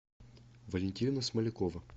валентина смолякова